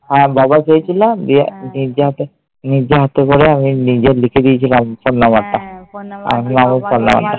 হ্যাঁ। বাবা চেয়েছিল। আমি নিজে হাতে নিজে হাতে করে আমি নিজে লিখে দিয়েছিলাম phone number টা